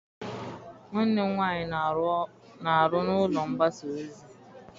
Nwanne m nwaanyị na-aru n'ụlọ mgbasa ozi.